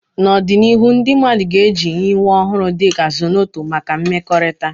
N'ọdịnihu, ndị mmadụ ga-eji nyiwe ọhụrụ dị ka Zornoto maka mmekọrịta.